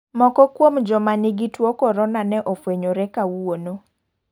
Moko kuom joma nigi tuo mar korona ne ofwenyore kawuono.